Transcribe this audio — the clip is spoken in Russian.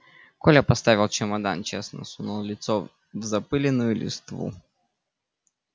коля поставил чемодан честно сунул лицо в запылённую листву